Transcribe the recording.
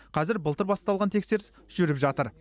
қазір былтыр басталған тексеріс жүріп жатыр